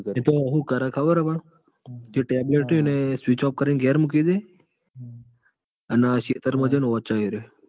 એતો હાહુ કર ખબર? જ રયુ ન એ કરીં ગરે મૂકી દે અને ખેતર માં જૈન વોચે હ એરીયો.